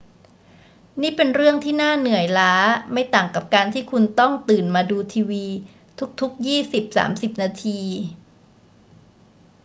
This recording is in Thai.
นี่เป็นเรื่องที่น่าเหนื่อยล้าไม่ต่างกับการที่คุณต้องตื่นมาดูทีวีทุก ๆ ยี่สิบสามสิบนาที